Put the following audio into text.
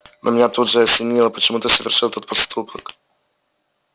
но меня тут же осенило почему ты совершил этот поступок